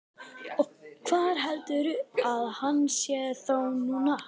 Og hvar heldurðu að hann sé þá núna?